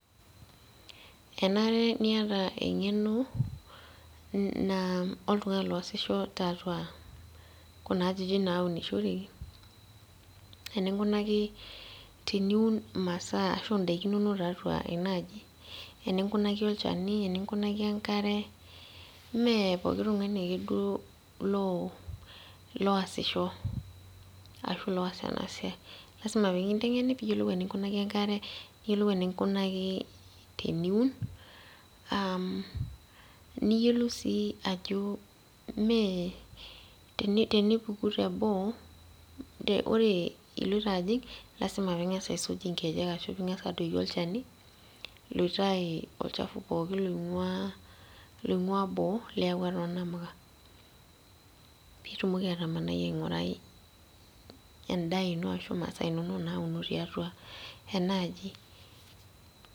Kenare niata eng'eno naa oltung'ani loosisho tiatua kuna ajijik naunishoreki, eninkunaki teniun imasaa ashu idaiki inonok tiatua enaaji. Eninkunaki olchani, eninkunaki enkare, mee pooki tung'ani ake duo loosisho. Ashu loas enasiai. Lasima pekinteng'eni piyiolou eninkunaki enkare, niyiolou eninkunaki teniun, niyiolou si ajo mee tenipuku teboo, ore iloito ajing', lasima ping'asa aisuj inkejek ashu ing'asa adoki olchani, loitayu olchafu pookin loing'ua boo liawua tonamuka. Pitumoki atamanai aing'urai endaa ino ashu masaa inonok nauno tiatua enaaji.